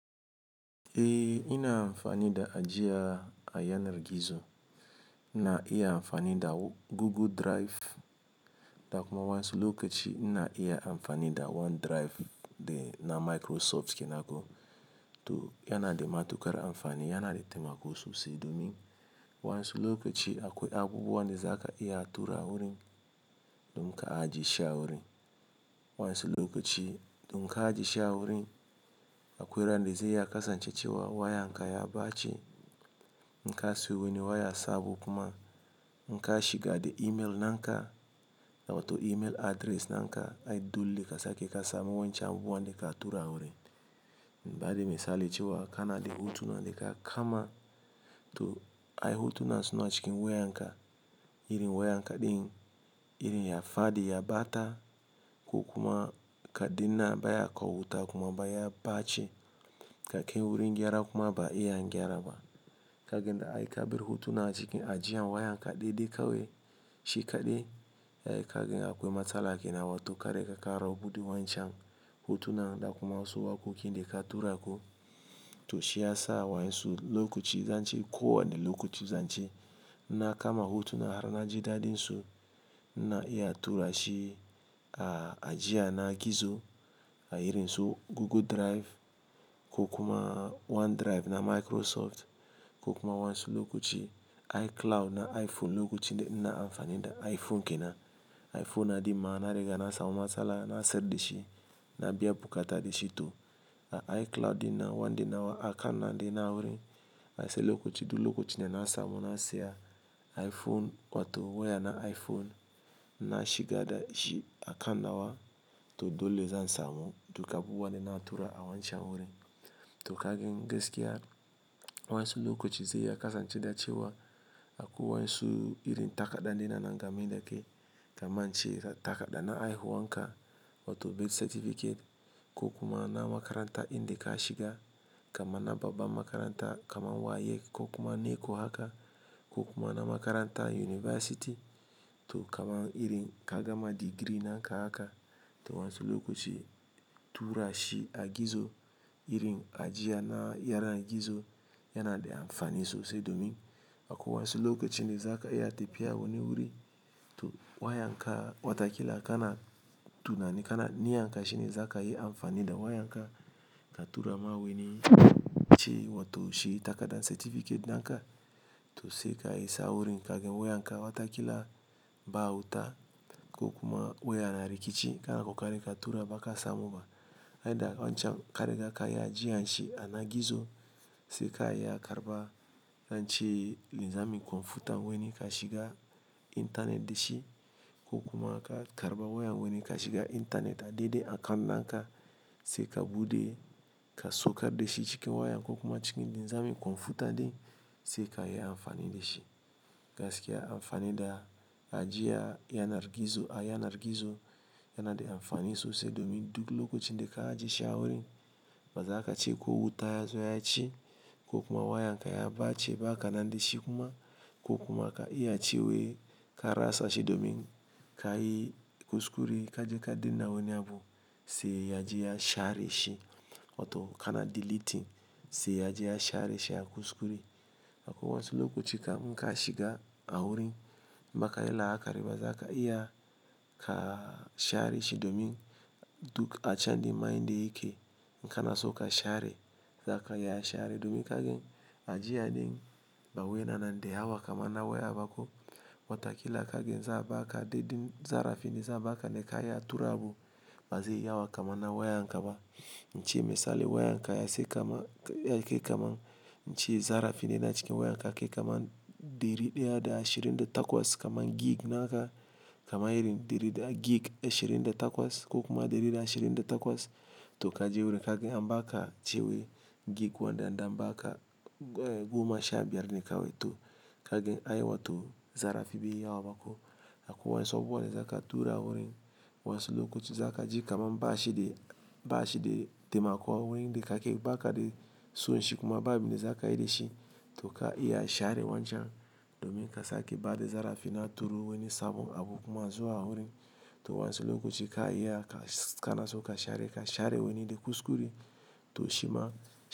Eh ina amfani da ajiya a yanar gizo, ina iya amfani da Google Drive, da kuma wayansu lokaci ina iya amfani da OneDrive de na Microsoft kenan ko. To yana da matuƙar amfani, yana da taimako sosai domin wayansu lokaci akwai abubuwan da za ka iya tura wurin, don ka ajiye shi a wurin. Wayansu lokaci to in ka ajiye shi a wurin akwai ran da zai iya kasance cewa wayan ka ya ɓace, in ka siyo wani waya sabo kuma in ka shiga da email naka, wato email address naka, ai dole ka sake ka samu wayancen abubuwan da ka tura wurin. Ba'a de misali cewa kana da hotunan da ka kama, to ai hotunan suna cikin wayan ka, irin wayan ka din, irin ya faɗi, ya ɓata ko kuma ka dina baya kawo wuta kuma baya ɓace, ka kai wurin gyara kuma baya iya an gyara ba. Kaga dai ai ka bar hotunan a cikin ajiya wayan ka dai dai kawai shi kaɗai. Eh kaga akwai matsala kenan to kare ka kara buɗe wancan hotunan da kuma wasu waƙoƙin da ka tura ko. To shi ya sa wayansu lokaci, zan ce kowane lokaci zan ce, ina kama hotuna har na ji daɗin su ina iya tura shi a ajiya na gizo a irin su Google Drive ko kuma OneDrive na Microsoft ko kuma wayansu lokaci iCloud na iPhone lokacin da ina amfani da iPhone ke nan. iPhone na ɗin ma na riga na samu matsala na siyar dashi na biya bukata da shi to a iCloud ina nawa akanan de na wurin. Ai sai lokaci duk lokacin da na samu na saya iPhone wato waya na iPhone, na shiga da shi akan nawa to dole zan samu duk abubuwan da na tura a wancan wurin. To kagin gaskiya wayansu lokaci zai iya kasance da cewa akwai wayansu irin takarda na nana gama yake, kamar ce takarda na Aiwu anka wato birth certificate ko kuma na makaranta in da ka shiga, kamar na babban makaranta kamar WAEC ko kuma NECO haka ko kuma na makaranta University, to kamar irin ka gama digiri naka haka. To wansi lokaci tura shi a gizo irin ajiya na yaren gizo yana da amfani sosai domin akwai wayansu lokacin da za ka iya tafiya wani wuri to wayan ka watakila kana tunanin kana niyyan ka shine za ka yi amfani da wayan ka ka tura ma wani ci wato shi takardan certificate naka. To sai ka isa wurin kaga wayan ka watakila ba wuta ko kuma wayan na rikici kana ka kakorin ka tura ba ka samu ba. Ai dai wancan ka riga ka yi ajiya shi a na gizo sai ka iya karɓa zan ce linzamin kwamfuta wani ka shiga intanet da shi ko kuma aka karɓa wayan wani ka shiga intanet a daidai akan nanka sai ka buɗe ka saukar da shi cikin wayan ko kuma cikin linzamin kwamfuta dai sai ka iya amfani da shi. Gaskiya amfani da ajiya a yanar gizo a yanar gizo yana da amfani sosai domin duk lokacin da ka ajiye shi a wurin bazaka ci ko wuta ya zo ya ci ko kuma wayan ka ya ɓace ba kana da shi kuma ko kuma ka iya ci wai ka rasa shi domin ka yi kuskure ka je ka danna wani abu sai ya ajiye share shi wato kana deleting sai ya je ya share shi a kuskure. Akwai wasu lokaci ka in ka shiga a wurin maka yi la'akari ba zaka iya ka share shi domin duk acan din mai de yake in kana so ka share, za ka iya share domin kagan ajiya din ba wi yana na d hawa kamar na waya ba ko watakila kagin za a ba ka daidai zarafi ne za a ba ka da ka iya tura abu ba zai hawa kamar na wayan ka ba. Nace misali wayan ka ya sake kama yake kaman Ince zarafi ne na cikin wayan ka yake kaman ɗari ɗaya da ashirin da takwas kamar gig naka kamar irin ɗari da gig ashirin da takwas ko kuma ɗari da ashirin da takwas to ka je wurin kaga am baka ce wai gig wanɗa anɗa amma aka goma sha biyar ne kawai to kagin ai wato zarafi bai yi hawa ba ko. Akwai wayansu abubuwan da za ka tura wurin wansi lokaci za ka ji kamar ba shi de ba shi de taimako wurin da ka ke baka de so shi kuma babu de za ka yi da shi to ka iya share wancan domin ka sake ba da zarafi na turo wani sabon abu kuma zuwa wurin. To wayansu lokaci ka iya ka kana so ka share ka share wani da kuskure to shima.